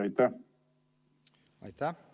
Aitäh!